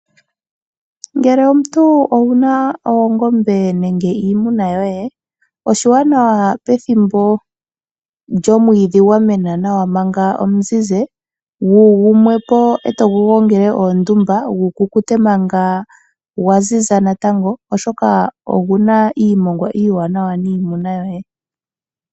Ngele omuntu owuna oongombe nenge iimuna yoye, oshiwanawa pethimbo lyomwiidhi gwa mena nawa manga omuzizi, gumwe po e togu gongele ondumba gu kukute manga gwaziza natango, oshoka oguna omongwa omuwanawa niimuna yoye.